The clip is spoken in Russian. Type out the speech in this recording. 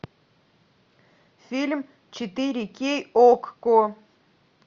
фильм четыре кей окко